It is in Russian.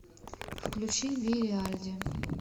включи вири альди